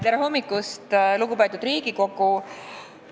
Tere hommikust, lugupeetud Riigikogu!